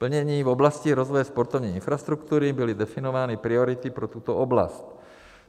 Plnění - v oblasti rozvoje sportovní infrastruktury byly definovány priority pro tuto oblast.